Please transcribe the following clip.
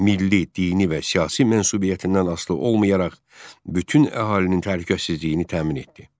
Milli, dini və siyasi mənsubiyyətindən asılı olmayaraq bütün əhalinin təhlükəsizliyini təmin etdi.